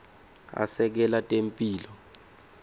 asekela temphilo